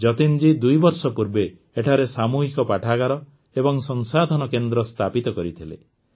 ଯତୀନ୍ଜୀ ଦୁଇବର୍ଷ ପୂର୍ବେ ଏଠାରେ ସାମୂହିକ ପାଠାଗାର ଏବଂ ସଂସାଧନ କେନ୍ଦ୍ର ସ୍ଥାପିତ କରିଥିଲେ